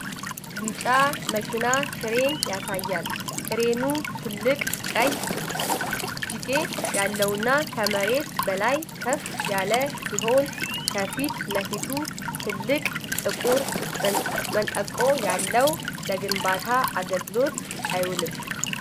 ቢጫ መኪና ክሬን ያሳያል፤ ክሬኑ ትልቅ ቀይ እጅጌ ያለውና ከመሬት በላይ ከፍ ያለ ሲሆን፣ ከፊት ለፊቱ ትልቅ ጥቁር መንጠቆ ያለው ለግንባታ አገልግሎት አይውልም?